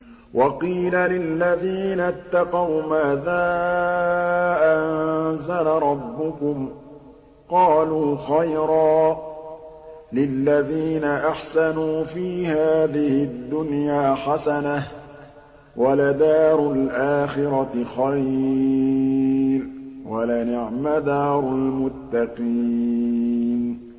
۞ وَقِيلَ لِلَّذِينَ اتَّقَوْا مَاذَا أَنزَلَ رَبُّكُمْ ۚ قَالُوا خَيْرًا ۗ لِّلَّذِينَ أَحْسَنُوا فِي هَٰذِهِ الدُّنْيَا حَسَنَةٌ ۚ وَلَدَارُ الْآخِرَةِ خَيْرٌ ۚ وَلَنِعْمَ دَارُ الْمُتَّقِينَ